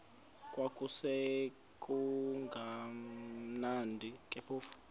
kwakusekumnandi ke phofu